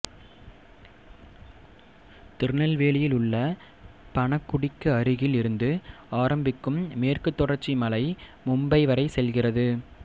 திருநெல்வேலியிலுள்ள பணகுடிக்கு அருகில் இருந்து ஆரம்பிக்கும் மேற்கு தொடர்ச்சி மலை மும்பை வரை செல்கிறது